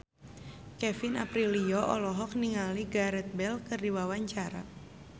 Kevin Aprilio olohok ningali Gareth Bale keur diwawancara